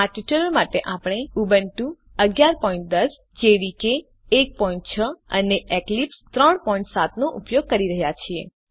આ ટ્યુટોરીયલ માટે આપણે ઉબુન્ટુ 1110 જેડીકે 16 અને એક્લિપ્સ 37 નો ઉપયોગ કરી રહ્યા છીએ